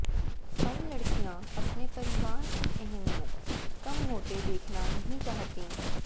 अब लड़कियां अपने परिवार की अहमियत कम होते देखना नहीं चाहतीं